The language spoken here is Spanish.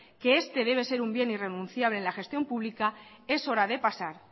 que este debe ser un bien irrenunciable en la gestión pública es hora de pasar